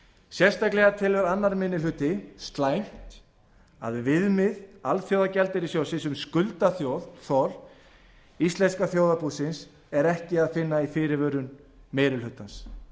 sérstaklega telur annar minni hluti slæmt að viðmið alþjóðagjaldeyrissjóðsins um skuldaþol íslenska þjóðarbúsins er ekki að finna í fyrirvörum meiri hlutans